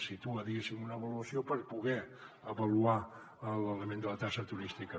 situa diguéssim una avaluació per poder avaluar l’element de la taxa turística